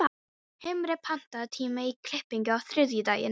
Himri, pantaðu tíma í klippingu á þriðjudaginn.